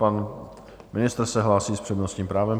Pan ministr se hlásí s přednostním právem.